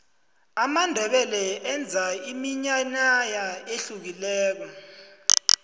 amandebele enza iminyanaya ehlukileko